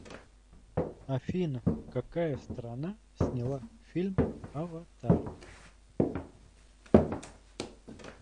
афина какая страна сняла фильм аватар